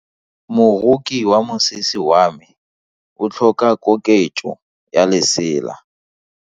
Moroki wa mosese wa me o tlhoka koketso ya lesela.